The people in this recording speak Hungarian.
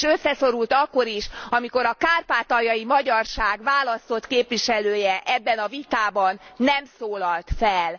És összeszorult akkor is, amikor a kárpátaljai magyarság választott képviselője ebben a vitában nem szólalt fel.